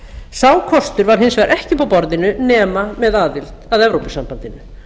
sá kostur var hins vegar ekki uppi á borðinu nema með aðild að evrópusambandinu